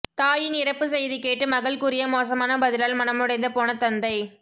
தாயின் இறப்பு செய்தி கேட்டு மகள் கூறிய மோசமான பதிலால் மனமுடைந்த போன தந்தை